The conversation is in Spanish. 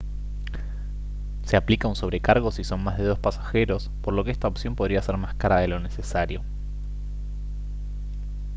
se aplica un sobrecargo si son más de dos pasajeros por lo que esta opción podría ser más cara de lo necesario